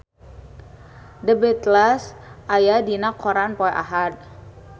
The Beatles aya dina koran poe Ahad